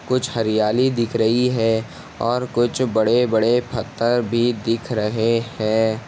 कुछ हरियाली दिख रही है और कुछ बड़े-बड़े फत्थर भी दिख रहे है ।